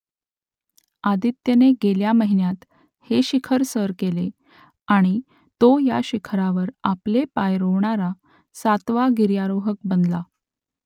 आदित्यने गेल्या महिन्यात हे शिखर सर केले आणि तो या शिखरावर आपले पाय रोवणारा सातवा गिर्यारोहक बनला